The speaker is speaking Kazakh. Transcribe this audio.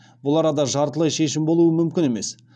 бұл арада жартылай шешім болуы мүмкін емес